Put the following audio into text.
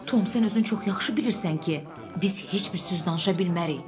Tom, sən özün çox yaxşı bilirsən ki, biz heç bir söz danışa bilmərik.